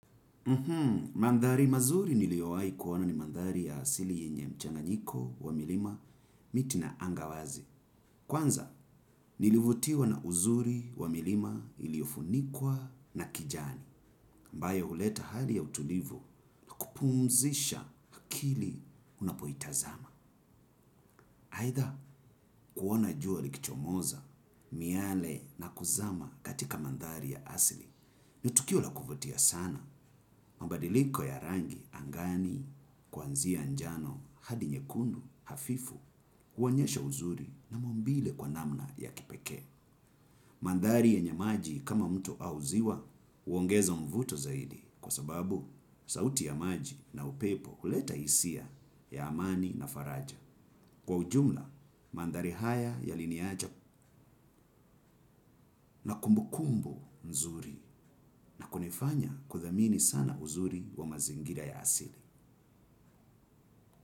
Mandhari mazuri niliowai kuona ni mandhari ya asili yenye mchanganyiko wa milima miti na anga wazi. Kwanza nilivutiwa na uzuri wa milima iliofunikwa na kijani. Ambayo huleta hali ya utulivu kupumzisha akili unapoitazama. Haitha kuona jua likichomoza, miale na kuzama katika mandhari ya asili. Ni tukio la kuvutia sana mabadiliko ya rangi angani kwanzia njano hadi nyekundu hafifu huonyesha uzuri na maumbile kwa namna ya kipekee. Mandhari yenye maji kama mto au ziwa uongeza mvuto zaidi kwa sababu sauti ya maji na upepo huleta isia ya amani na faraja. Kwa ujumla, mandhari haya yaliniacha na kunifanya kudhamini sana uzuri wa mazingira ya asili.